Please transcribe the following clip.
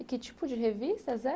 E que tipo de revistas eram?